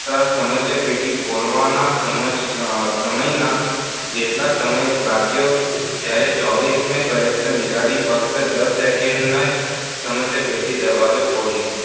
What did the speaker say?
સમસ્યાપેટી ખોલવાના સમયમાં જેટલો સમય લાગ્યો દસ સેકન્ડમાં જ સમસ્યાપેટીનો દરવાજો ખોલી